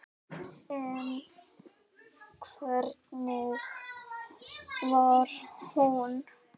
En hvernig var hún?